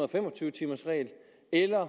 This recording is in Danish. og fem og tyve timers regel eller